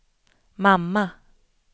mamma